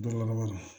Dɔ laban na